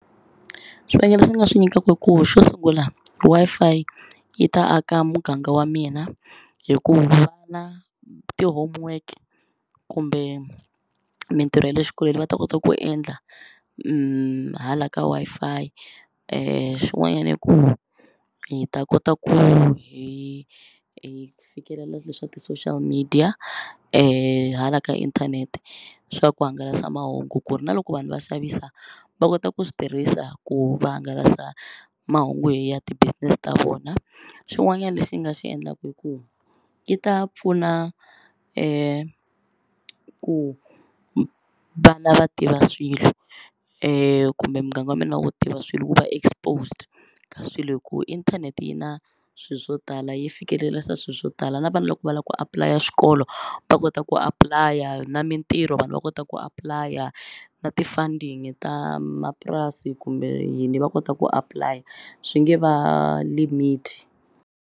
Swivangelo leswi ni nga swi nyikaka i ku xo sungula Wi-Fi yi ta aka muganga wa mina hi ku vana ti-homework kumbe mintirho ya le xikolweni va ta kota ku endla hala ka Wi-Fi swin'wanyani i ku hi ta kota ku hi hi fikelela swilo swa ti-social media hala ka inthanete swa ku hangalasa mahungu ku ri na loko vanhu va xavisa va kota ku swi tirhisa ku va hangalasa mahungu hi ya ti-business ta vona xin'wanyani lexi nga xi endlaku i ku yi ta pfuna ku vana va tiva swilo kumbe muganga wa mina wo tiva swilo ku va exposed ka swilo hi ku inthanete yi na swi swo tala yi fikelerisa swi swo tala na vana loko va la ku apply-a swikolo va kota ku apply-a na mintirho vanhu va kota ku apply-a na ti-funding ta mapurasi kumbe yini va kota ku apply-a swi nge va limit.